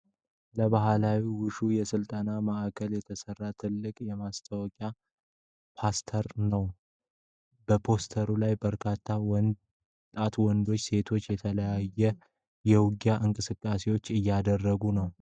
ለባህላዊ ውሹ የስልጠና ማዕከል የተሰራ ትልቅ የማስታወቂያ ፖስተር አለ። በፖስተሩ ላይ በርካታ ወጣት ወንዶችና ሴቶች የተለያዩ የውጊያ እንቅስቃሴዎችን እያደረጉ ነው።